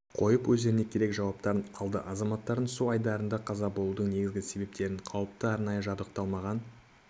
қойып өздеріне керек жауаптарын алды азаматтардың су айдындарында қаза болудың негізгі себептері қауіпті арнайы жабдықталмаған